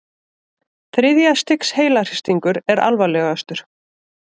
Þriðja stigs heilahristingur er alvarlegastur.